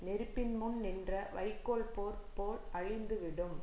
நெருப்பின் முன் நின்ற வைக்கோல் போர் போல் அழிந்துவிடும்